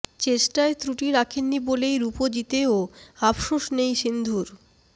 চেষ্টায় ত্রুটি রাখেননি বলেই রুপো জিতেও আফশোস নেই সিন্ধুর